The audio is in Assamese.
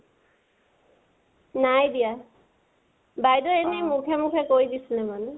নাই দিয়া । বাইদেওয়ে এনে মুখে মুখে কৈ দিছিলে মানে